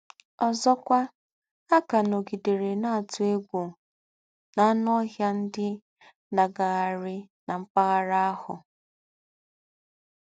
Ọ́zọ́kwà, à ká nọ̀gidérè nà-àtú égwú ànù ọ́hịà ndí́ nà-àgághárí nà m̀pagharà àhù.